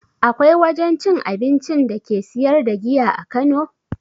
Akwai wajen cin abincin da ke siyar da giya a kano?